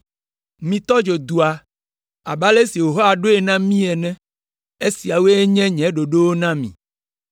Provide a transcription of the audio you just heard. Mitɔ dzo dua abe ale si Yehowa ɖo na mí ene. Esiawoe nye nye ɖoɖowo na mi.”